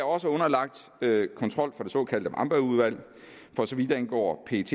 også underlagt kontrol fra det såkaldte wambergudvalg for så vidt angår pets